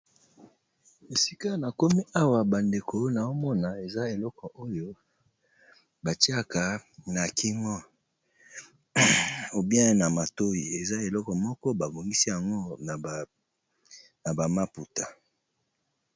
Esika tomoni awa bandeko nazomona eza obele eloko batiya na matoi batongi yango na bamaputa